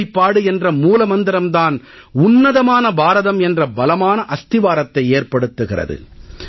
ஒருமைப்பாடு என்ற மூல மந்திரம் தான் உன்னதமான பாரதம் என்ற பலமான அஸ்திவாரத்தை ஏற்படுத்துகிறது